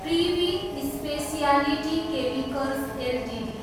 privy speciality chemicals Ltd